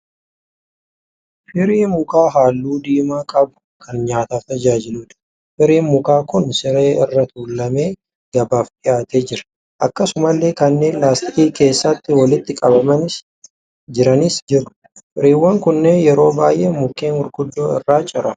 Firii mukaa halluu diimaa qabu kan nyaataaf tajaajiluudha. Firiin mukaa kun siree irra tuulamee gabaaf dhiyaatee jira. Akkasumallee kanneen laastikii keessatti walitti qabamanii jiranis jiru. Firiiwwan kunneen yeroo baay'ee mukeen gurguddoo irraa ciramu.